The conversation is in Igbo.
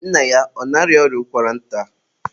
nna ya ọ na-arịa ọrịa ụkwara nta?